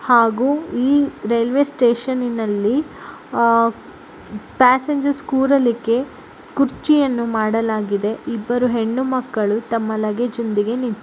ಹಾಗೂ ಈ ರೈಲ್ವೆ ಸ್ಟೇಷನ್ನಿನಲ್ಲಿ ಆಹ್ ಪ್ಯಾಸೆಂಜರ್ ಕುರಲಿಕ್ಕೆ ಕುರ್ಚಿಯನ್ನು ಮಾಡಲಾಗಿದೆ. ಇಬ್ಬರು ಹೆಣ್ಣು ಮಕ್ಕಳು ತಮ್ಮ ಲಗೇಜನೊಂದಿಗೆ ನಿಂತಿ--